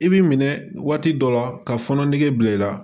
I b'i minɛ waati dɔ la ka fɔnɔ nege bila i la